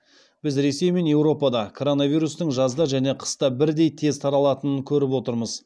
біз ресей мен еуропада коронавирустың жазда және қыста бірдей тез таралатынын көріп отырмыз